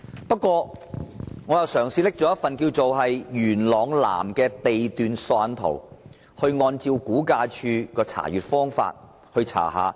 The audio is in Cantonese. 不過，我嘗試利用元朗南地段索引圖，按照估價署的方法查看。